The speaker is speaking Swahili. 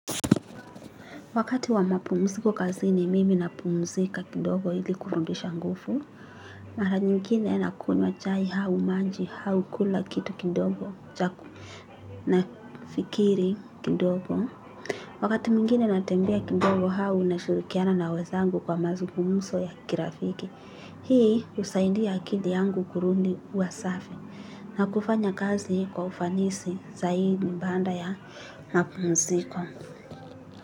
Wakati wa mapumziko kazini mimi napumzika kidogo ili kurudisha nguvu. Mara nyingine nakunywa chai au maji au kula kitu kidogo cha ku nafikiri kidogo. Wakati mwingine natembea kidogo au nashirikiana na wenzangu kwa mazungumzo ya kirafiki. Hii husaidia akili yangu kurudi kuwa safi na kufanya kazi kwa ufanisi zaidi baada ya mapumziko.